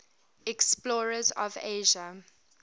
explorers of asia